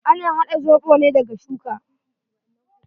Ana haɗa zoɓo ne daga shuka.